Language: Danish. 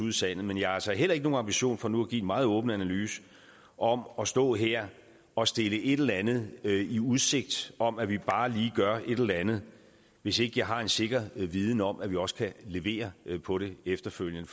i sandet men jeg har altså heller ikke nogen ambition for nu at give en meget åben analyse om at stå her og stille et eller andet i udsigt om at vi bare lige gør et eller andet hvis ikke jeg har en sikker viden om at vi også kan levere på det efterfølgende